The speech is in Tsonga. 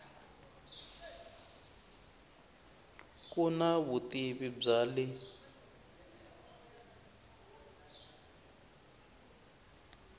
ku na vutivi bya le